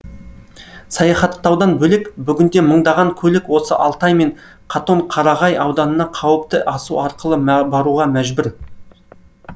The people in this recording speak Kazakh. саяхаттаудан бөлек бүгінде мыңдаған көлік осы алтай мен қатон қарағай ауданына қауіпті асу арқылы баруға мәжбүр